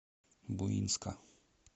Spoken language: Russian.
буинска